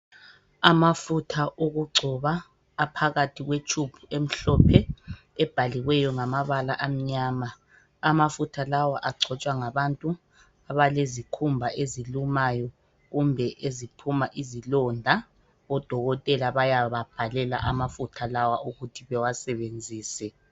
Amafutha okugcoba aphakathi kwetshubhu emhlophe ebhaliweyo ngamabala amnyama. Amafutha lawa agcotshwa ngabantu abalezikhumba ezilumayo kumbe eziphuma izilonda . Odokotela bayababhalela amafutha lawa ukuthi bewasebenzise.